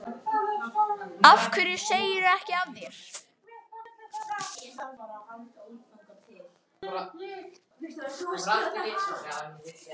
Af hverju segirðu ekki af þér?